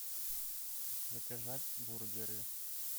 заказать бургеры